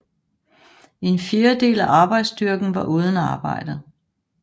En fjerdedel af arbejdsstyrken var uden arbejde